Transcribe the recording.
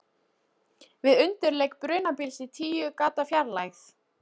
Við undirleik brunabíls í tíu gatna fjarlægð.